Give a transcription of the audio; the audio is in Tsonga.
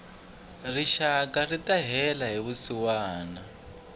rixaka rita hela hi vusiwana